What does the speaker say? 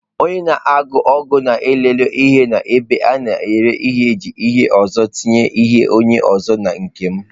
Onye na-akwụ ụgwọ nke lere ihe m n'ebe a na-ere ahịa ji hie ụzọ tinye ihe onye ọzọ n'ime nke m